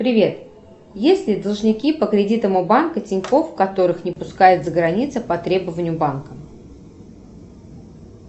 привет есть ли должники по кредитам у банка тинькофф которых не пускают за границу по требованию банка